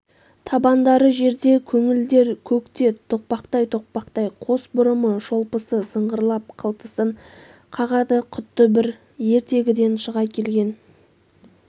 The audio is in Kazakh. табандары жерде көңілдер көкте тоқпақтай-тоқпақтай қос бұрымы шолпысы сыңғырлап қылтасын қағады құдды бір ертегіден шыға келген